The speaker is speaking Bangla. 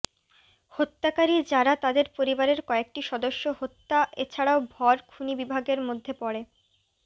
হত্যাকারী যারা তাদের পরিবারের কয়েকটি সদস্য হত্যা এছাড়াও ভর খুনী বিভাগের মধ্যে পড়ে